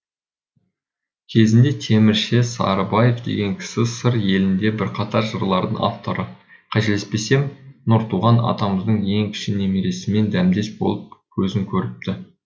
кезінде темірше сарыбаев деген кісі сыр елінде бірқатар жырлардың авторы қателеспесем нұртуған атамыздың ең кіші немересімен дәмдес болып көзін көріпті